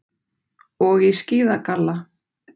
Og í skíðagalla.